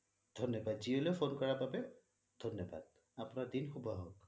ধন্যবাদ জিঅ' লৈ phone কৰা বাবে ধন্যাদ আপোনাৰ দিন শুভ হক